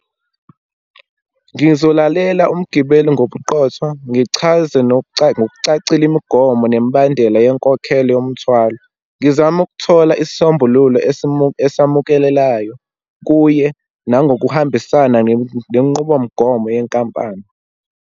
Ngizolalela umgibeli ngobuqotho, ngichaze ngokucacile imigomo nemibandela yenkokhelo yomthwalo. Ngizame ukuthola isisombululo esamukelelayo kuye, nangokuhambisana nenqubomgomo yenkampani.